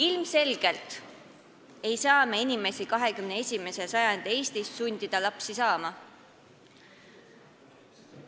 Ilmselgelt ei saa me 21. sajandi Eestis inimesi lapsi saama sundida.